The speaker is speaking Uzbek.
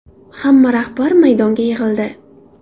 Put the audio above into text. Hamma rahbar maydonga yig‘ildi.